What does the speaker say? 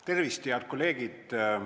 Tervist, head kolleegid!